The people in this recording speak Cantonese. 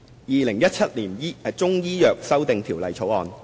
《2017年中醫藥條例草案》。